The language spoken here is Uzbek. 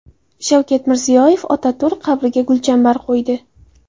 Shavkat Mirziyoyev Otaturk qabriga gulchambar qo‘ydi.